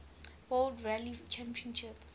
world rally championship